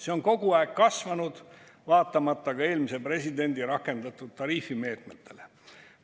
See on kogu aeg kasvanud, vaatamata ka eelmise presidendi rakendatud tariifimeetmetele.